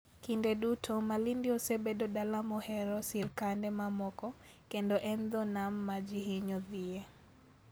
Kinde duto, Malindi osebedo dala mohero sirkande mamoko, kendo en dho nam ma ji hinyo dhiye.